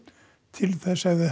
til þess hefði